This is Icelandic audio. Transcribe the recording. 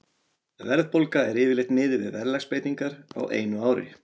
Verðbólga er yfirleitt miðuð við verðlagsbreytingar á einu ári.